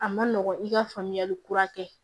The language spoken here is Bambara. A ma nɔgɔn i ka faamuyali kura kɛ